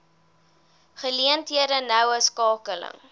geleenthede noue skakeling